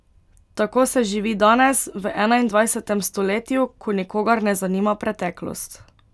Tako se živi danes, v enaindvajsetem stoletju, ko nikogar ne zanima preteklost.